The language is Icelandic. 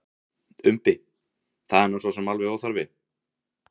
Umbi: Það er nú sosum alveg óþarfi.